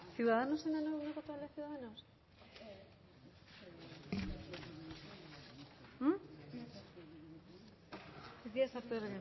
ciudadanosen